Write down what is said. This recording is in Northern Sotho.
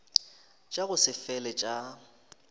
tša go se fele tša